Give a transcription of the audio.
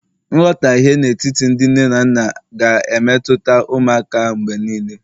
nghọtahie n'etiti ndị nne na nna, ga-emetụta ụmụaka mgbe niile